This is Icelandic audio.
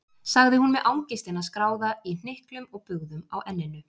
sagði hún með angistina skráða í hnyklum og bugðum á enninu.